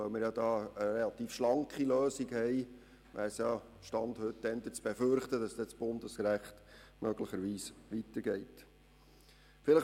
Weil wir eine relativ schlanke Lösung haben, ist eher zu befürchten, dass das Bundesrecht möglicherweise weitergehen wird.